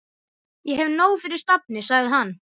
Ég hef nóg fyrir stafni, sagði hann.